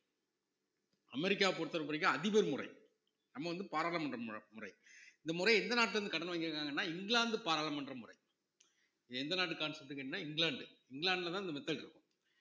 அமெரிக்காவ பொறுத்தவரைக்கும் அதிபர் முறை நம்ம வந்து பாராளுமன்ற முற~ முறை இந்த முறை எந்த நாட்டுல இருந்து கடன் வாங்கியிருக்காங்கன்னா இங்கிலாந்து பாராளுமன்ற முறை எந்த நாட்டு concept க்குன்னா இங்கிலாந்து இங்கிலாந்துலதான் இந்த method இருக்கும்